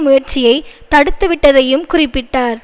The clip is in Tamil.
முயற்சியை தடுத்துவிட்டதையும் குறிப்பிட்டார்